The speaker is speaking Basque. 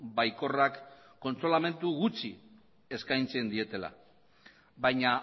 baikorrak kontsolamendu gutxi eskaintzen dietela baina